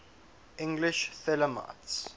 english thelemites